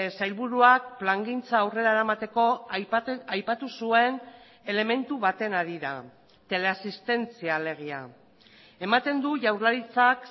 sailburuak plangintza aurrera eramateko aipatu zuen elementu baten harira teleasistentzia alegia ematen du jaurlaritzak